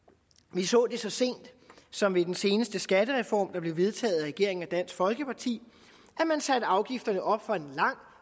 vi så det så sent som ved den seneste skattereform der blev vedtaget af regeringen og dansk folkeparti at man satte afgifterne op for en lang